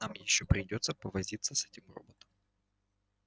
нам ещё придётся повозиться с этим роботом